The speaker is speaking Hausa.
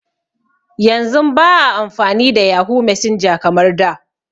Yanzun ba a amfani da yahoo messenger kamar da